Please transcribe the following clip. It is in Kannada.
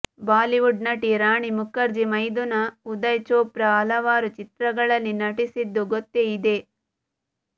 ಬಾಲಿವುಡ್ ನಟಿ ರಾಣಿ ಮುಖರ್ಜಿ ಮೈದುನ ಉದಯ್ ಚೋಪ್ರಾ ಹಲವಾರು ಚಿತ್ರಗಳಲ್ಲಿ ನಟಿಸಿದ್ದು ಗೊತ್ತೇ ಇದೆ